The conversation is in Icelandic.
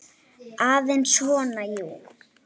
Aðeins svona, jú.